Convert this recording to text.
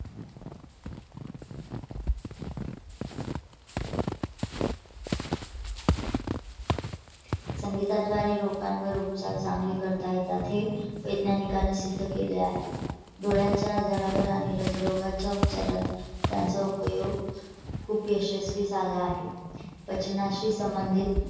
संगीताचा आणि लोकांवर उपचार चांगली करता येतात हे वैज्ञानिकांनी सिद्ध केले आहे. डोळ्यांच्या आजारावर आणि राज या दोघांच्या उपचारात त्यांचा उपयोग खूप यशस्वी झाला आहे. पचनाशी संबंधित